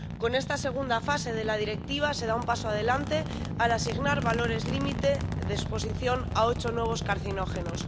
Con esta segunda fase de la Directiva se da un paso adelante al asignar valores límite de exposición a ocho nuevos carcinógenos.